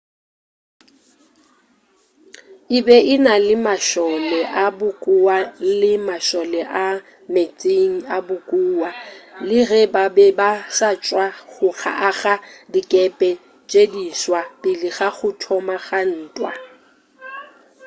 e be e na le mašole a bokowa le mašole a meetseng a bokowa le ge ba be ba sa tšwa go aga dikepe tše diswa pele ga go thoma ga ntwa